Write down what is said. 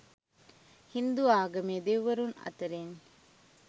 හින්දු ආගමේ දෙව්වරුන් අතිරින්